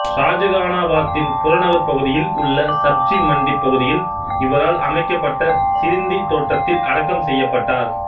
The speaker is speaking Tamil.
ஷாஜகானாபாத்தின் புறநகர்ப் பகுதியில் உள்ள சப்ஜி மண்டி பகுதியில் இவரால் அமைக்கப்பட்ட சிரிந்தி தோட்டத்தில் அடக்கம் செய்யப்பட்டார்